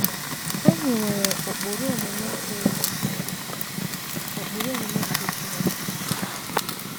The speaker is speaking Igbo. Anyị nwere ụkpụrụ omume ka elu, ụkpụrụ omume nke Chineke.